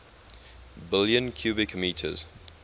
billion cubic meters